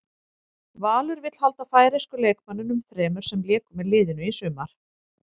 Valur vill halda færeysku leikmönnunum þremur sem léku með liðinu í sumar.